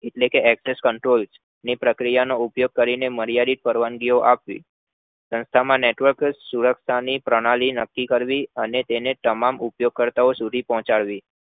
એટલે કે address control ની પ્રક્રિયા નો ઉપયોગ કરી માર્યાદિત પરવાનગીઓ આપવી સંસ્થા માં network સુરક્ષા ની પ્રણાલી નક્કી કરવી અને તેને તમામ ઉપયોગ કરતા સુધી પહોચાડવી